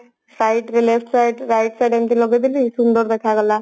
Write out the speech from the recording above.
site ରେ left site right sight ରେ ଏମତି ଲଗେଇଦେଲି ସୁନ୍ଦର ଦେଖାଗଲା